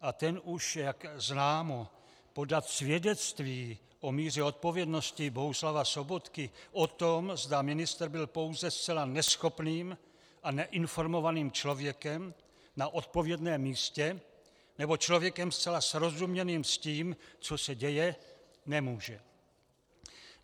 A ten už, jak známo, podat svědectví o míře odpovědnosti Bohuslava Sobotky, o tom, zda ministr byl pouze zcela neschopným a neinformovaným člověkem na odpovědném místě, nebo člověkem zcela srozuměným s tím, co se děje, nemůže.